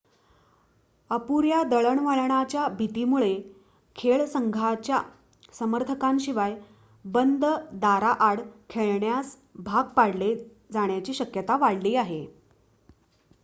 अपुऱ्या दळणवळणाच्या भीतीमुळे खेळ संघाच्या समर्थकांशिवाय बंद दारांआड खेळण्यास भाग पाडले जाण्याची शक्यता वाढली आहे